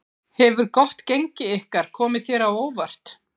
Hefur gott gengi ykkar komið þér á óvart?